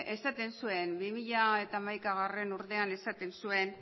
esaten zuen bi mila hamaikagarrena urtean